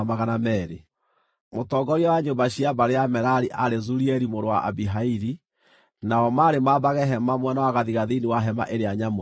Mũtongoria wa nyũmba cia mbarĩ ya Merari aarĩ Zurieli mũrũ wa Abihaili; nao maarĩ maambage hema mwena wa gathigathini wa Hema-ĩrĩa-Nyamũre.